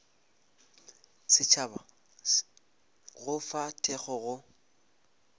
setšhaba go fa thekgo go